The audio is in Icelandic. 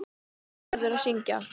Þú verður að syngja.